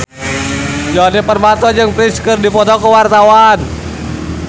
Djoni Permato jeung Prince keur dipoto ku wartawan